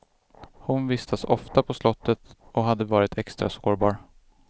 Hon vistas ofta på slottet och hade varit extra sårbar.